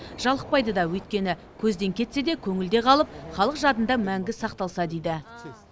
жалықпайды да өйткені көзден кетсе де көңілде қалып халық жадында мәңгі сақталса дейді